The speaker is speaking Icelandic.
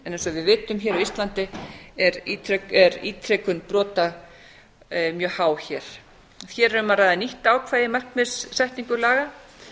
eins og við vitum hér á íslandi er ítrekun brota mjög há hér hér er um að ræða nýtt ákvæði í markmiðssetningu laga